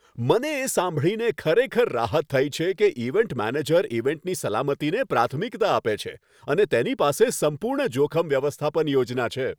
મને એ સાંભળીને ખરેખર રાહત થઈ છે કે ઇવેન્ટ મેનેજર ઇવેન્ટની સલામતીને પ્રાથમિકતા આપે છે અને તેની પાસે સંપૂર્ણ જોખમ વ્યવસ્થાપન યોજના છે.